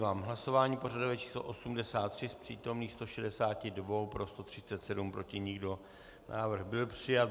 V hlasování pořadové číslo 83 z přítomných 162 pro 137, proti nikdo, návrh byl přijat.